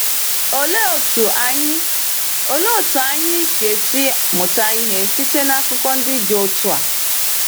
Olee otú anyị Olee otú anyị ga-esi mụta ihe site na akụkọ ndị dị otu a?